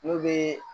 N'o bɛ